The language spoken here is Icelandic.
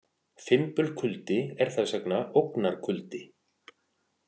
Fimbulkuldi er þess vegna ógnarkuldi.